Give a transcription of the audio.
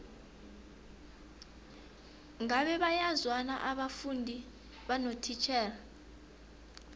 ngabe bayazwana abafundi nabotitjhere